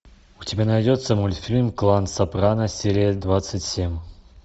у тебя найдется мультфильм клан сопрано серия двадцать семь